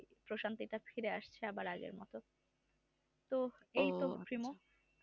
পশান্তি তো আবার ফিরে এসেছে আমাদের তো